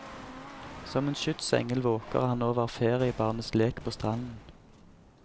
Som en skytsengel våker han over feriebarnets lek på stranden.